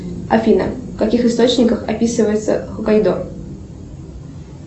афина в каких источниках описывается хоккайдо